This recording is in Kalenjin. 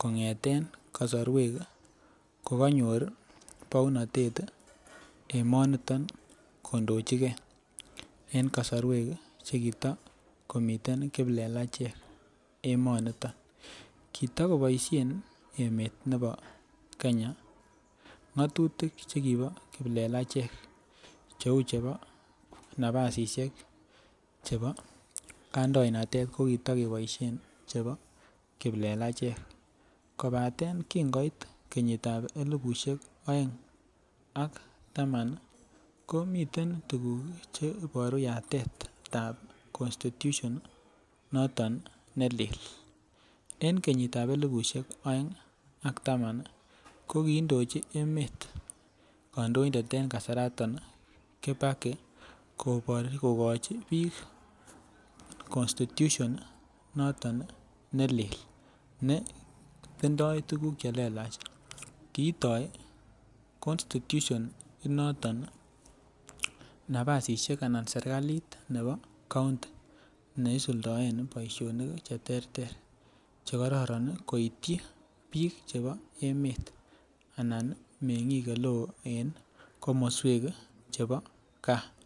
kongeten kosorwek kokonyor bounotet emoniton konochingee en kosorwek chekita komiten kiplelechek emoniton. Kitakoboishen emet nebo Kenya ngotutik chekibo kiplelechek cheu chebo nabasishek chebo kandoinatet ko kito keboishen chebo kiplelechek kobaten kin koit kenyitab elibushek oeng ak taman nii komiten tukuk cheiboru yatetab constitution noton nelelen. En kenyitab elibushek oeng ak taman nii ko kindochi emet kondoindetab en kasarton kibaki kokochi bik constitution noton nelelen ne tindo tukuk chelelach , koto constitution inoton nabasishek anan sirkali nebo kounti neisuldoen boishonik cheterter chekororon nii koityi bik chebo emet anan mengik oleo en komoswek chebo gaa.